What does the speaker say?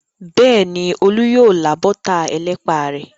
Bẹ́ẹ̀ni, Olú yóò lá bọ́tà ẹlẹ́pà rẹ̀.